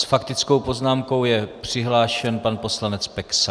S faktickou poznámkou je přihlášen pan poslanec Peksa.